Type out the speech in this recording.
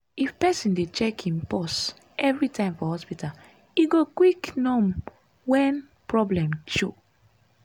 if person dey check im pause evrytime for hospita e go quick nom wen problem show.